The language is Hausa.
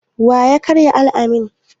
Wa ya karya alƙalamin?